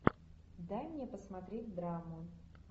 дай мне посмотреть драму